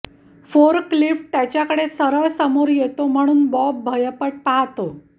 forklift त्याच्याकडे सरळ समोर येतो म्हणून बॉब भयपट पाहतो